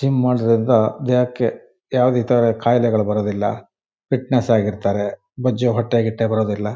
Gym ಮಾಡ್ಸೋದ್ರಿಂದ ದೇಹಕ್ಕೆ ಯಾವುದೇ ತರಹದ ಕಾಯಿಲೆಗಳು ಬರೋದಿಲ್ಲ ಫಿಟ್ನೆಸ್ ಆಗಿರ್ತಾರೆ ಬೊಜ್ಜು ಹೊಟ್ಟೆಗಿಟ್ಟೆ ಬರುವುದಿಲ್ಲ.